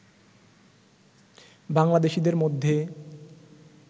বাংলাদেশিদের মধ্যে